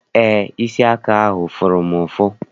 Eé, isi aka ahụ fụrụ m ụfụ.